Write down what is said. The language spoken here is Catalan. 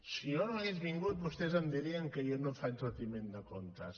si jo no hagués vingut vostès em dirien que jo no faig retiment de comptes